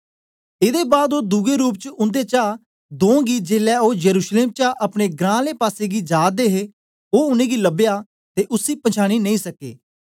एदे बाद ओ दुए रूप च उन्देचा दों गी जेलै ओ यरूशलेम चा अपने ग्रां आले पासेगी जा दे हे ओ उनेंगी लबया ते उसी पछांनी नेई सके